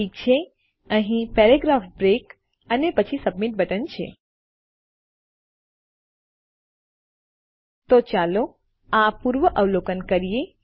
ઠીક છે અહીં પેરાગ્રાફ બ્રેક અને પછી સબમિટ બટન છે તો ચાલો આ પૂર્વઅવલોકન કરીએ